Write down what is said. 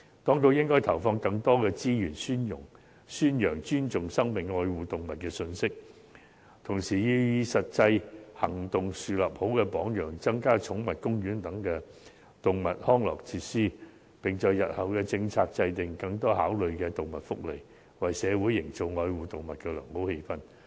當局應投放更多資源宣揚"尊重生命、愛護動物"的信息，同時要以實際行動樹立良好榜樣，增加寵物公園等動物康樂設施，並在日後制訂政策時多考慮動物福利，為社會營造愛護動物的良好氣氛。